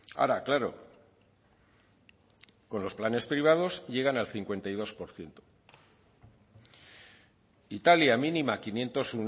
ahora claro con los planes privados llegan al cincuenta y dos por ciento italia mínima quinientos